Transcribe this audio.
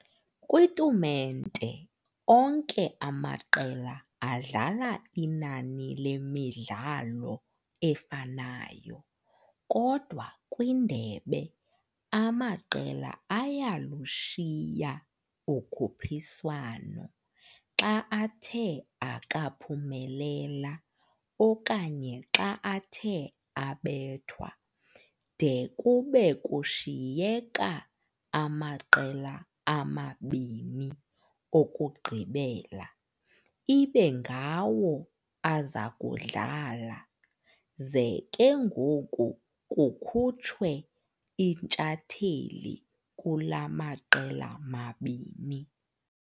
Kwi"tumente", onke amaqela adlala inani lemidlalo efanayo, kodwa "kwindebe", amaqela ayalushiya ukhuphiswano xa athe akaphumelela okanye xa athe abethwa, de kube kushiyeka amaqela amabini okugqibela ibe ngawo azakudlala, ze ke ngoku kukhutshwe intshatheli kula maqela mabini.